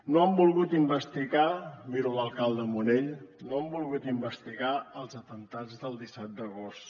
no han volgut investigar miro l’alcalde munell no han volgut investigar els atemptats del disset d’agost